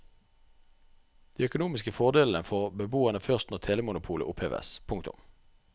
De økonomiske fordelene får beboerne først når telemonopolet oppheves. punktum